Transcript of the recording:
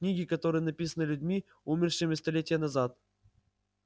книги которые написаны людьми умершими столетия назад